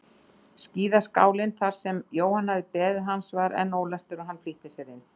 Skíðaskálinn þar sem Jóhann hafði beðið hans var enn ólæstur og hann flýtti sér inn.